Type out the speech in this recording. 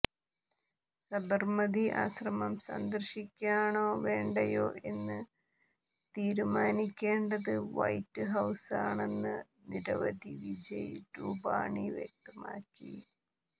സബര്മതി ആശ്രമം സന്ദര്ശിക്കണോ വേണ്ടയോ എന്ന് തീരുമാനിക്കേണ്ടത് വൈറ്റ് ഹൌസാണെന്ന് മുഖ്യമന്ത്രി വിജയ് രൂപാണി വ്യക്തമാക്കി